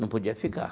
Não podia ficar.